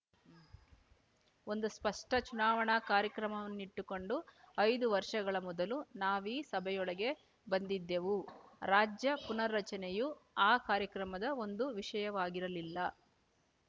ಒಂದು ಸ್ಪಷ್ಟ ಚುನಾವಣಾ ಕಾರ್ಯಕ್ರಮವನ್ನಿಟ್ಟುಕೊಂಡು ಐದು ವರ್ಷಗಳ ಮೊದಲು ನಾವೀ ಸಭೆಯೊಳಗೆ ಬಂದಿದ್ದೆವು ರಾಜ್ಯ ಪುನರ್ರಚನೆಯು ಆ ಕಾರ್ಯಕ್ರಮದ ಒಂದು ವಿಷಯವಾಗಿರಲಿಲ್ಲ